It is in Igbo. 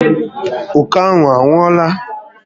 Oke ahụ anwụọla?